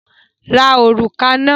Ra òrùka náà!